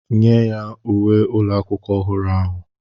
nye ya uwe ụlọ akwụkwọ ọhụrụ ahụ